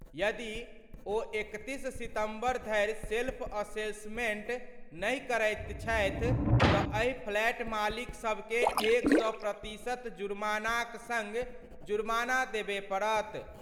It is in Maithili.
यदि ओ 31सितम्बर धरि सेल्फ असेसमेंट नहि करैत छथि तँ एहि फ्लैट मालिकसभकें 100 प्रतिशत जुमार्नाक सङ्ग जुमार्ना देबय पड़त।